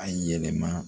A yɛlɛma